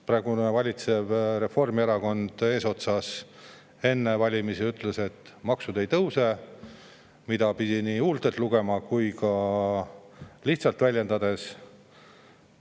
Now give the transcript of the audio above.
Praegu valitseva Reformierakonna eesotsas enne valimisi ütles, et maksud ei tõuse, mida ta lihtsalt väljendas, aga seda pidi ka tema huultelt lugema.